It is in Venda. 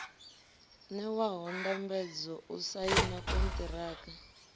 ṋewaho ndambedzo u saina konṱiraka